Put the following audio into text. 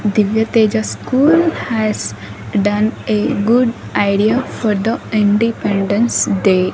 Divya teja school has done a good idea for the independence day.